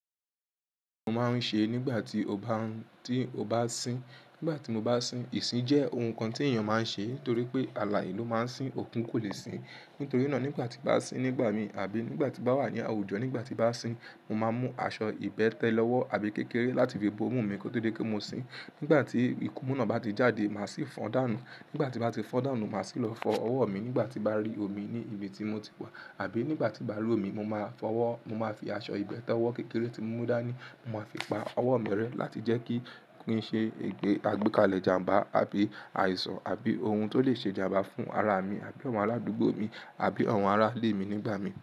Mo máa ń ṣe nígbà tí ó bá n, tí ó bá sín. Nígbà tí mo bá sín, ìsín jẹ́ ohun kan tí èèyàn máa ń ṣe ni torí pé àlàye lo máa ń sín, òku kò lè sín. Nítorí náà nígbà tí n bá sín nígbà mi àbí nígbà tí bá wà ní àwùjọ, nígbà tí n bá sín, mo máa mú aṣọ ìbẹ́tẹ́ lọ́wọ́ àbí kékeré láti fi bo imú mi kó tó di pe mo sín. Nígbà tí ìkumu náà bá ti jáde, màá sì fọ́n dànù. Nígbà tí bá ti fọ́n dànù, màá sì lọ fọ ọwọ́ mi. Nígbà tí bá rí omi ní ibi tí mo ti wà àbí nígbà tí n bá rí omi, mo máa fọwọ́, mo máa fi aṣọ ìbẹ́tẹ́wọ́ kékeré tí mo mú dání, mo máa fi pa ọwọ́ mi rẹ́ láti jẹ́ kí kin ṣe ìgbẹ́ àgbékalẹ̀ ìjàmbá àbí àìsàn àbí ohun tó lè ṣe ìjàmbá fún ara mi àbí awon aládùúgbò mi àbí àwọn ará ilé mi nígbà mi.